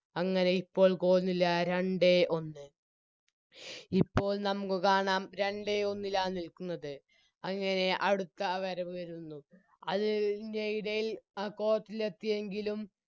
അങ്ങനെ ഇപ്പോൾ Goal നില രണ്ടേ ഒന്ന് ഇപ്പോൾ നമുക്ക് കാണാം രണ്ടേ ഒന്നിലാ നിൽക്കുന്നത് അങ്ങനെ അടുത്ത വരവ് വരുന്നു അത് ൻറെയിടയിൽ അ Court ൽ എത്തിയെങ്കിലും